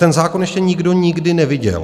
Ten zákon ještě nikdo nikdy neviděl.